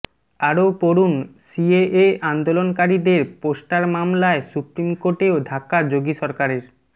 আরও পড়ুনঃ সিএএ আন্দোলনকারীদের পোস্টার মামলায় সুপ্রিম কোর্টেও ধাক্কা যোগী সরকারের